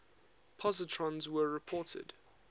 positrons were reported